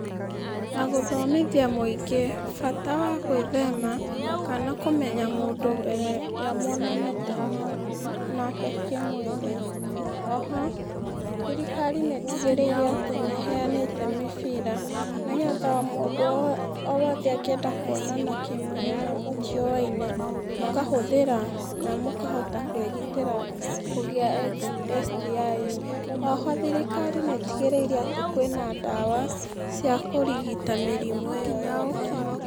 Na gūthomithia mūingī bata wa gwīthema kana kūmenya mūndū mbere ya mwonanīte na nake kīmwīrī. Oho thirikari nītigīrīire atī nīheanīte mībīra nīgetha o mūndū o wothe angīenda kūonana kīmwīrī na mūtiūwaine, mūkahūthīra na mūkahota kūigitīra kūgia STIs[cs[. Oho thirikari nītigīrīire atī kwīna ndawa cia kūrigita mīrimū īyo yothe.